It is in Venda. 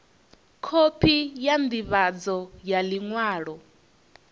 khophi ya ndivhadzo ya liṅwalo